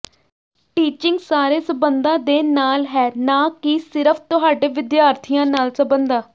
teaching ਸਾਰੇ ਸਬੰਧਾਂ ਦੇ ਨਾਲ ਹੈ ਨਾ ਕਿ ਸਿਰਫ਼ ਤੁਹਾਡੇ ਵਿਦਿਆਰਥੀਆਂ ਨਾਲ ਸਬੰਧਾਂ